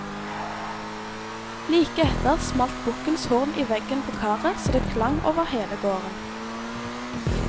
Like etter smalt bukkens horn i veggen på karet så det klang over hele gården.